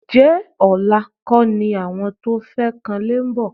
Ǹjẹ́ ọ̀la kọ́ ni àwọn tó fẹ́ kanlé ń bọ̀?